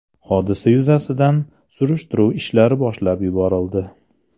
Hodisa yuzasidan surishtiruv ishlari boshlab yuborildi.